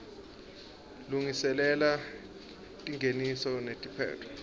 lungiselela tingeniso netiphetfo